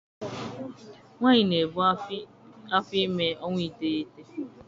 Nwaanyị na-ebu afọ ime ọnwa iteghete.